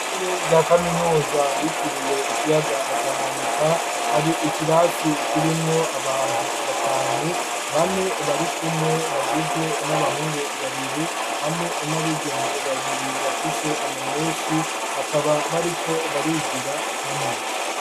Ishure rya kaminuza ryitiriwe ikiyaga Tanganyika, hari ikirasi kirimwo abantu batanu, bane barikumwe bagizwe n'abahungu babiri hamwe n'abigeme babiri, bafise ama meshi bakaba bariko barigira hamwe.